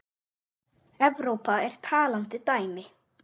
Evrópa er talandi dæmi.